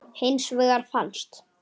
Hins vegar fannst